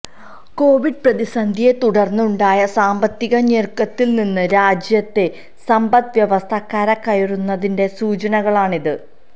Covid പ്രതിസന്ധിയെത്തുടര്ന്നുണ്ടായ സാമ്പത്തിക ഞെരുക്കത്തില്നിന്ന് രാജ്യത്തെ സമ്പദ് വ്യവസ്ഥ കരകയറുന്നതിന്റെ സൂചനകളാണിത്